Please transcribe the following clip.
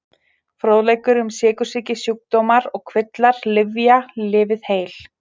Fróðleikur um sykursýki Sjúkdómar og kvillar Lyfja- Lifið heil.